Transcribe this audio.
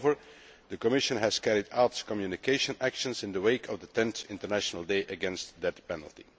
Moreover, the Commission has carried out communication actions in the wake of the 10th International Day against the Death Penalty.